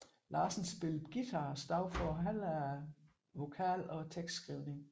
Larsen spillede guitar og stod for halvdelen af vokalen og tekstskrivningen